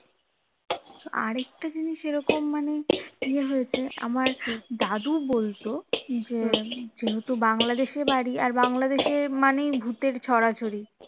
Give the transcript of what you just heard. আরেকটা জিনিস এরকম মানে ইয়ে হয়েছে আমার দাদু বলতো যে যেহেতু বাংলাদেশে বাড়ি আর বাংলাদেশেই মানে ভূতের ছড়াছড়ি